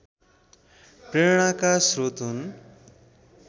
प्रेरणाका श्रोत हुन्